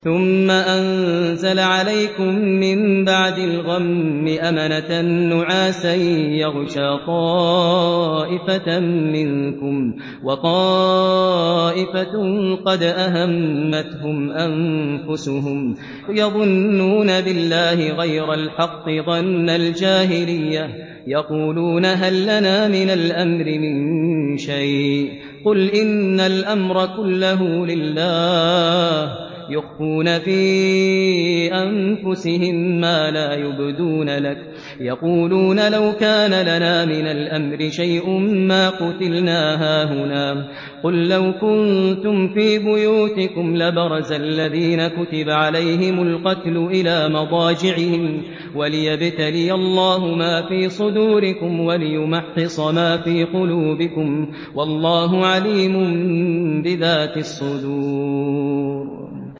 ثُمَّ أَنزَلَ عَلَيْكُم مِّن بَعْدِ الْغَمِّ أَمَنَةً نُّعَاسًا يَغْشَىٰ طَائِفَةً مِّنكُمْ ۖ وَطَائِفَةٌ قَدْ أَهَمَّتْهُمْ أَنفُسُهُمْ يَظُنُّونَ بِاللَّهِ غَيْرَ الْحَقِّ ظَنَّ الْجَاهِلِيَّةِ ۖ يَقُولُونَ هَل لَّنَا مِنَ الْأَمْرِ مِن شَيْءٍ ۗ قُلْ إِنَّ الْأَمْرَ كُلَّهُ لِلَّهِ ۗ يُخْفُونَ فِي أَنفُسِهِم مَّا لَا يُبْدُونَ لَكَ ۖ يَقُولُونَ لَوْ كَانَ لَنَا مِنَ الْأَمْرِ شَيْءٌ مَّا قُتِلْنَا هَاهُنَا ۗ قُل لَّوْ كُنتُمْ فِي بُيُوتِكُمْ لَبَرَزَ الَّذِينَ كُتِبَ عَلَيْهِمُ الْقَتْلُ إِلَىٰ مَضَاجِعِهِمْ ۖ وَلِيَبْتَلِيَ اللَّهُ مَا فِي صُدُورِكُمْ وَلِيُمَحِّصَ مَا فِي قُلُوبِكُمْ ۗ وَاللَّهُ عَلِيمٌ بِذَاتِ الصُّدُورِ